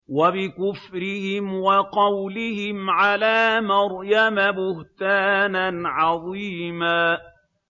وَبِكُفْرِهِمْ وَقَوْلِهِمْ عَلَىٰ مَرْيَمَ بُهْتَانًا عَظِيمًا